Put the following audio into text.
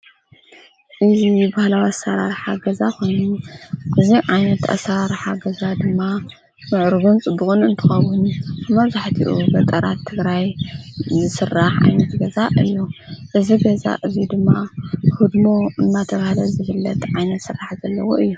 እዙ ባህላዊ ገዛ ኾኑ እዚ ዓይነት ኣሣራርሓ ገዛ ድማ ምዕርጕን ጽቡቅን እንተከውን መብዛሕትኡ ጊዜ ድማ ኣብ ገጠራት ትግራይ ዝሥራሕ ኣይነት ገዛ እዮ። እዝ ገዛ እዙይ ድማ ህድሞ እናተብሃለ ዘፍለጥ ዓይነት ሥራሕ ዘለዎ እዮ።